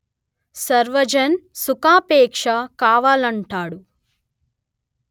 సర్వజన్ సుఖాపేక్ష కావాలంటాడు